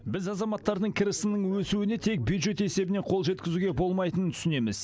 біз азаматтардың кірісінің өсуіне тек бюджет есебінен қол жеткізуге болмайтынын түсінеміз